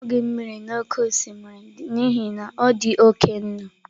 Anughi m mmiri oke osimiri n'ihi na ọ dị oke nnu.